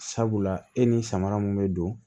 Sabula e ni samara min bɛ don